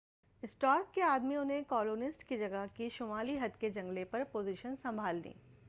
Stark کے آدمیوں نے کالونسٹ کی جگہ کی شُمالی حد کے جنگلے پر پوزیشنز سنبھال لیں